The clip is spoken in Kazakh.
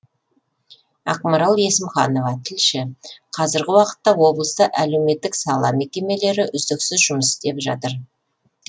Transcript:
ақмарал есімханова тілші қазіргі уақытта облыста әлеуметтік сала мекемелері үздіксіз жұмыс істеп жатыр